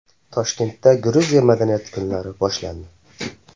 Toshkentda Gruziya madaniyati kunlari boshlandi.